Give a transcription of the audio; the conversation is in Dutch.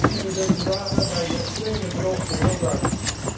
dat zien we dezer dagen bij die extreme droogte heel duidelijk.